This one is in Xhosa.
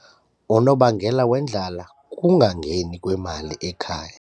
Unobangela wendlala kukungangeni kwemali ekhaya.